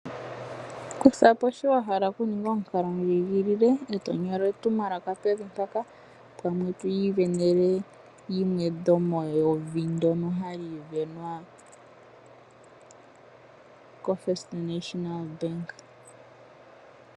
Kuthapo shi wa hala okuninga omukalo ndjigilile e to nyola etumwalaka pevi mpaka pamwe to isindanene yimwe dhomewuvi ndyoka hali isindanenwa ko First National bank.